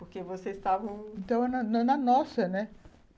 Porque vocês estavam... Então, na na nossa, né?